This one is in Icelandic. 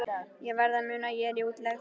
Ég verð að muna að ég er í útlegð.